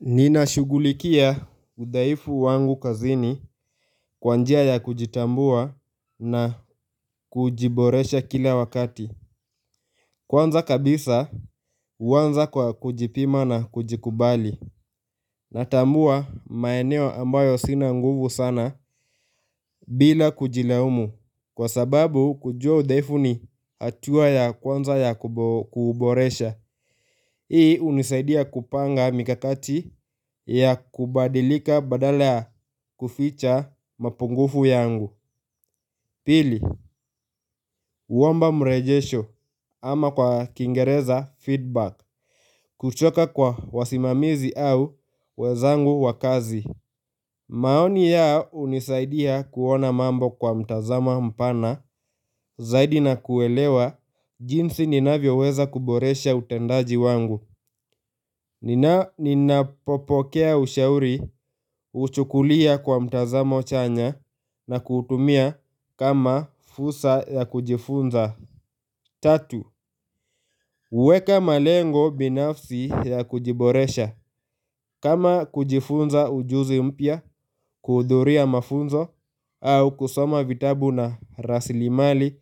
Ninashugulikia udhaifu wangu kazini kwa njia ya kujitambua na kujiboresha kila wakati Kwanza kabisa huanza kwa kujipima na kujikubali Natambua maeneo ambayo sina nguvu sana bila kujilaumu Kwa sababu kujua udhaifu ni hatua ya kwanza ya kuboresha Hii hunisaidia kupanga mikakati ya kubadilika badala ya kuficha mapungufu yangu Pili, huomba mrejesho ama kwa kingereza feedback kutoka kwa wasimamizi au wezangu wakazi maoni ya unisaidia kuona mambo kwa mtazama mpana Zaidi na kuelewa jinsi ninavyo weza kuboresha utendaji wangu Nina popokea ushauri, huchukulia kwa mtazamo chanya na kuutumia kama fusa ya kujifunza Tatu, huweka malengo binafsi ya kujiboresha kama kujifunza ujuzi mpya, kuhudhuria mafunzo au kusoma vitabu na rasilimali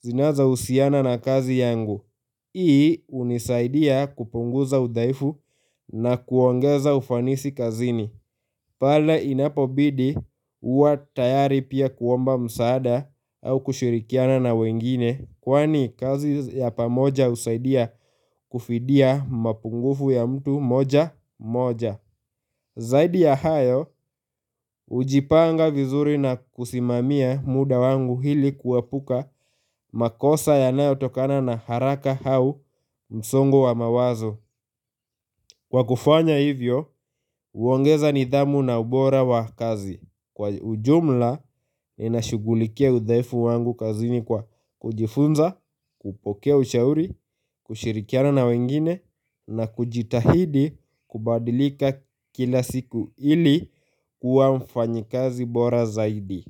zinazousiana na kazi yangu Hii unisaidia kupunguza udhaifu na kuongeza ufanisi kazini pale inapobidi uwa tayari pia kuomba msaada au kushirikiana na wengine Kwani kazi ya pamoja usaidia kufidia mapungufu ya mtu moja moja Zaidi ya hayo hujipanga vizuri na kusimamia muda wangu hili kuepuka makosa yanayotokana na haraka hau msongo wa mawazo Kwa kufanya hivyo, huongeza nidhamu na ubora wa kazi Kwa ujumla, ninashugulikia udhaifu wangu kazi ni kwa kujifunza, kupokea ushauri, kushirikiana na wengine na kujitahidi kubadilika kila siku ili kuwa mfanyikazi bora zaidi.